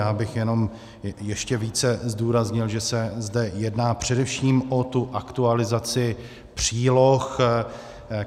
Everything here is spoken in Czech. Já bych jenom ještě více zdůraznil, že se zde jedná především o tu aktualizaci příloh.